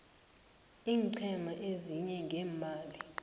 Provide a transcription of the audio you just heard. iinqhema ezisiza ngeemali